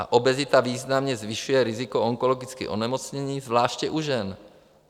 A obezita významně zvyšuje riziko onkologických onemocnění, zvláště u žen.